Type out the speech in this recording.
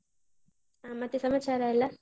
ಆ ಮತ್ತೆ ಸಮಾಚಾರ ಎಲ್ಲ?